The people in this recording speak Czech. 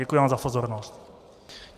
Děkuji vám za pozornost.